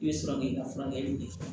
I bɛ sɔrɔ k'i ka furakɛli kɛ